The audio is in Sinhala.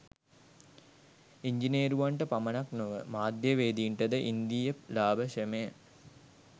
ඉංජිනේරුවන්ට පමණක් නොව මාධ්‍යවේදීන්ට ද ඉන්දීය ලාභ ශ්‍රමය